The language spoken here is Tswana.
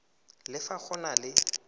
le fa go na le